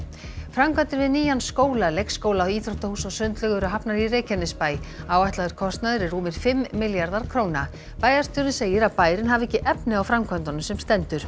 framkvæmdir við nýjan skóla leikskóla íþróttahús og sundlaug eru hafnar í Reykjanesbæ áætlaður kostnaður er rúmir fimm milljarðar króna bæjarstjórinn segir að bærinn hafi ekki efni á framkvæmdunum sem stendur